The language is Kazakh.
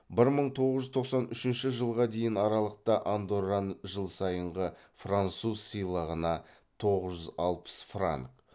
бір мың тоғыз жүз тоқсан үшінші жылға дейінгі аралықта андорран жыл сайынғы француз сыйлығына тоғыз жүз алпыс франк